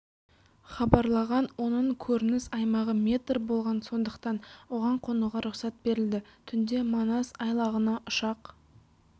хабарлаған оның көрініс аймағы метр болған сондықтан оған қонуға рұқсат берілді түнде манас айлағына ұшақ